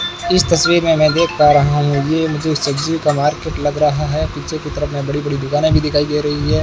इस तस्वीर में मैं देख पा रहा हूं ये मुझे सब्जी का मार्केट लग रहा है पीछे की तरफ में बड़ी बड़ी दुकाने भी दिखाई दे रही है।